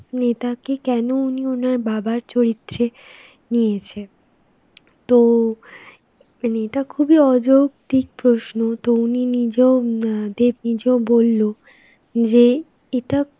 নেতাকে কেনো উনি উনার বাবার চরিত্রে নিয়েছে. তো, মানে এটা খুবই অযৌক্তিক প্রশ্ন. তো উনি নিজেও, হম আ দেব নিজেও বলল যে এটা